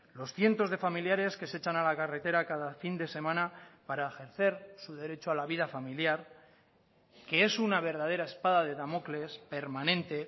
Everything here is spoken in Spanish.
los cientos de familiares que se echan a la carretera cada fin de semana para ejercer su derecho a la vida familiar que es una verdadera espada de damocles permanente